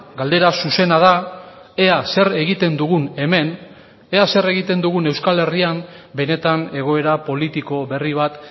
galdera zuzena da ea zer egiten dugun hemen ea zer egiten dugun euskal herrian benetan egoera politiko berri bat